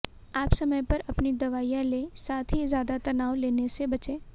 आप समय पर अपनी दवाइयां ले साथ ही ज्यादा तनाव लेने से बचें